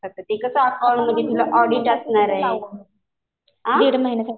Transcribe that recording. आता ते कसं अकाउंटमध्ये तुला ऑडिट असणार आहे. आ?